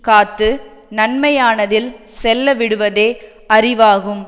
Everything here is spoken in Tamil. காத்து நன்மையானதில் செல்லவிடுவதே அறிவாகும்